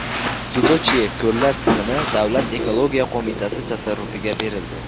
Sudochye ko‘llar tizimi Davlat ekologiya qo‘mitasi tasarrufiga berildi.